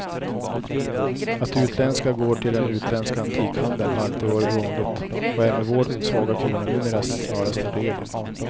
Att det utländska går till den utländska antikhandeln har alltid varit vanligt och är med vår svaga krona numera snarast en regel.